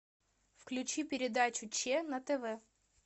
включи передачу че на тв